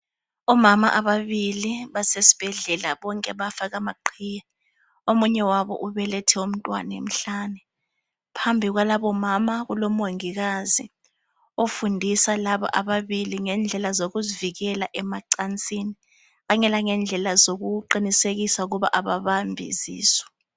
Omama babili bonke basesibhedlela bonke bafake amaqhiye. Omunye wabo ubelethe umntwana emhlane. Phambi kwalabo omama kulomongikazi ofundisa laba ababili ngendlela zokuzivikela emacansini kanye lendlela zokuqinisekisa ukuthi ababambi izisu.